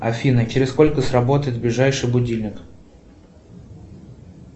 афина через сколько сработает ближайший будильник